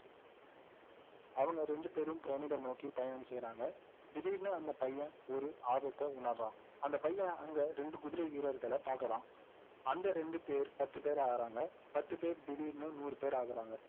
அவங்க ரெண்டுபேரும் பிரமிடை நோக்கி பயணம் செய்றாங்க திடீர்னு அந்த பையன் ஒரு ஆபத்தை உணர்றான் அந்த பையன் அங்க ரெண்டு குதிரை வீரர்களை பார்க்கிறான் அந்த ரெண்டுபேர் பத்துபேர் ஆகுறாங்க பத்து பேர் திடீர்னு நூறுபேர் ஆகுறாங்க